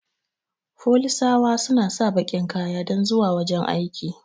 Folisawa suna sa bakin kaya dan zuwa wajan aiki